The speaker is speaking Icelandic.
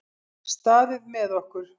Staðið með okkur